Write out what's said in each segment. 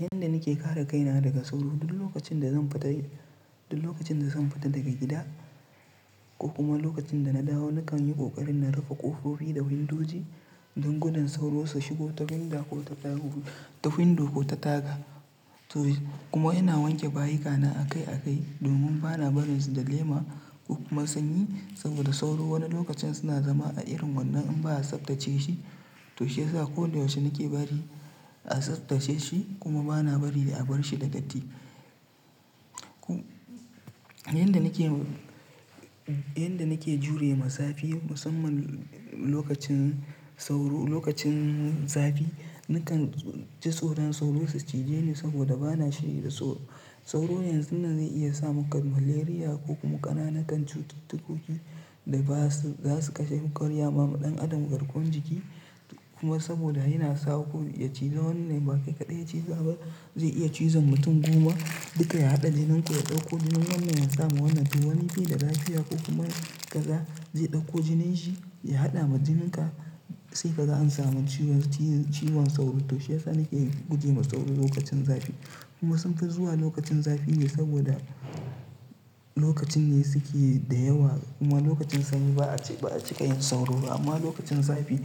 Yadda nake kare kaina daga sauro duk lokacin da zan fita, duk lokacin da zan fita daga gida ko kuma lokacin da na dawo nakan yi ƙoƙarin na rufe ƙofofi da windoji don gudun sauro su shigo ta windo ko ta taga. Kuma ina wanke bayina akai akai domin ba na barin su da lema ko kuma sanyi saboda sauro wani lokacin suna zama a irin wannan in ba a tsaftace shi to shi yasa ko da yaushe nake bari a tsaftace shi kuma ba na bari a bar shi da datti. Yanda nake jure ma zafi musamman lokacin sauro, lokacin zafi nakan ji tsoron sauro su cije ni saboda ba na da sauro. Sauro yanzu nan zai iya saka maka malaria ko kuma ƙananan cututtuka da za su kashe wa adam garkuwan jiki. Kuma saboda yana iya ko ya ciza wannan ba kai kaɗai ya ciza ba zai iya cizon mutum goma duka ya haɗa jinin ku ya ɗauko jinin wannan ya saka ma wannan ciwon. Wani bai da Lafiya ko kuma kaza zai ɗauko jinin nasa ya haɗa ma jinin ka sai kaga an samu ciwon sauro. To shi yasa nake guje wa sauro lokacin zafi kuma sun fi zuwa lokacin zafi ne saboda lokacin ne suke da yawa kuma lokacin sanyi ba a cika, yin sauro ba amma lokacin zafi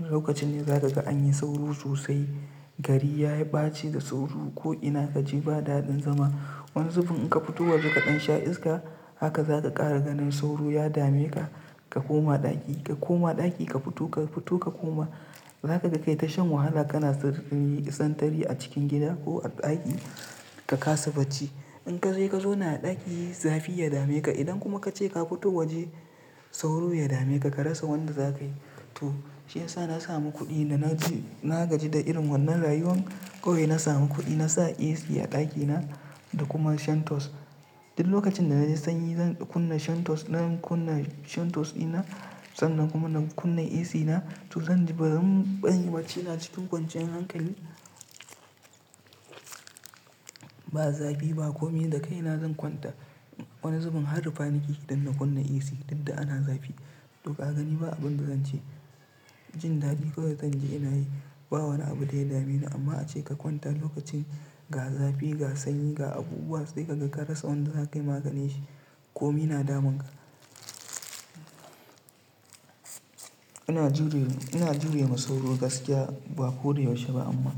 lokacin ne za ka ga anyi sauro sosai. Gari ya bace da sauro ko ina kaje babu daɗin zama. Wani lokaci in ka fito waje kaɗan sha iska haka zaka ƙara ganin sauro sun dame ka. Ka koma ɗaki, ka koma ɗaki ka fito, ka fito ka koma zaka ga kai ta shan wahala kana yin sintiri a cikin gida ko a ɗaki ka kasa bacci. Indan ka je ka zauna a ɗaki zafi ya dame ka idan kuma ka ce ka fito waje sauro ya dame ka ka rasa wanda za kayi. To shi yasa na samu kuɗi da na gaji, na gaji da irin wannan rayuwa kawai na samu kuɗi na sa AC a ɗakina da kuma shantos. Duk lokacin da na ji sanyi zan kunna shantos, zan kunna shantos dina sannan kuma zan kunna AC na Zanyi bacci cikin kwanciyar hankali. Ba zafi ba komai da kai na zan kwanta wani zubin har rufa nake yi idan na kunna AC dukda ana zafi. To ka gani ba abun da zan ce jin daɗi kawai zanji ina yi. Ba wani abu da ya dame ni amma ace ka kwanta lokacin ga zafi, ga sanyi, ga abubuwa sai kaga ka rasa wanda zakayi maganinsa komai na damun ka. Ina jure, ina jure ma sauro gaskiya ba ko da yaushe ba amma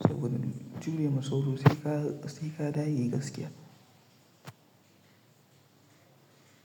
saboda jure ma sauro sai ka, sai ka dage gaskiya.